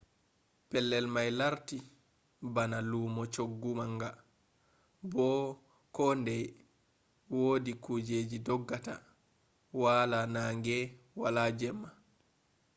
pellel mai lartti bana lumo chuggu manga bo ko ndei wodi kujeji doggata wala nange wala jemma